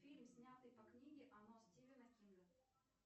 фильм снятый по книге оно стивена кинга